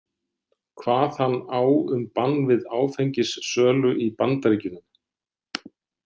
Kvað hann á um bann við áfengissölu í Bandaríkjunum.